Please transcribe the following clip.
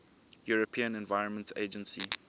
european environment agency